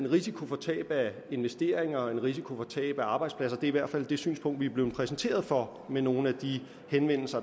risiko for tab af investeringer og en risiko for tab af arbejdspladser det er i hvert fald det synspunkt vi er blevet præsenteret for ved nogle af de henvendelser